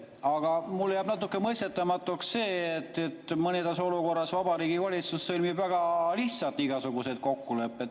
Aga mulle jääb natuke mõistetamatuks see, et mõnes olukorras Vabariigi Valitsus sõlmib väga lihtsalt igasuguseid kokkuleppeid.